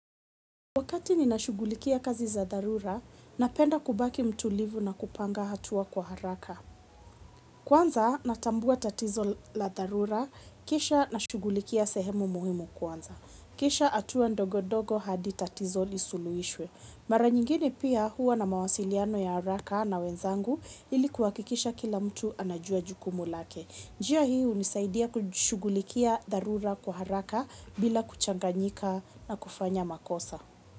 Wakati ni nashughulikia kazi za dharura, napenda kubaki mtulivu na kupanga hatua kwa haraka. Kwanza natambua tatizo la dharura, kisha nashughulikia sehemu muhimu kwanza. Kisha hatua ndogo ndogo hadi tatizo lisuluhishwe. Mara nyingine pia huwa na mawasiliano ya haraka na wenzangu ili kuhakikisha kila mtu anajua jukumu lake. Njia hii hunisaidia kushughulikia dharura kwa haraka bila kuchanganyika na kufanya makosa.